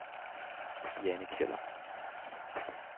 Jane Kjøller